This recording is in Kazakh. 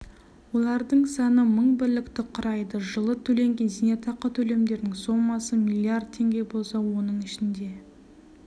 олардың саны мың бірлікті құрайды жылы төленген зейнетақы төлемдерінің сомасы млрд теңге болса оның ішінде